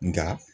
Nka